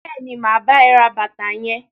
Bẹẹni, ma bá ẹ ra bàtà yẹn.